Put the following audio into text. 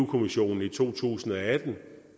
kommissionen i to tusind og atten